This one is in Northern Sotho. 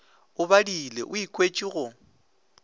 o badile o ikwetše go